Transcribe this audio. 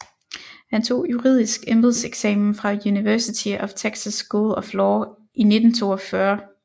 Han tog juridisk embedseksamen fra University of Texas School of Law i 1942